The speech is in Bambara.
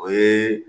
O ye